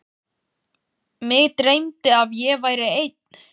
Mig dreymdi að ég væri einn.